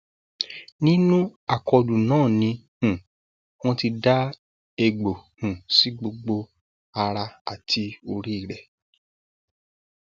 nínú àkọlù náà ni um wọn ti da ègbò um sí gbogbo ara àti orí rẹ